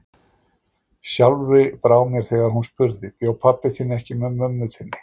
Sjálfri brá mér þegar hún spurði: Bjó pabbi þinn ekki með mömmu þinni?